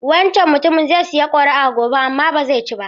Wancan mutumin zai sayi kuri'a gobe amma ba zai ci ba.